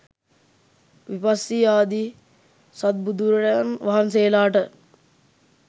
විපස්සී ආදී සත් බුදුවරයන් වහන්සේලාට